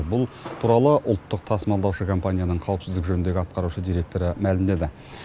бұл туралы ұлттық тасымалдаушы компанияның қауіпсіздік жөніндегі атқарушы директоры мәлімдеді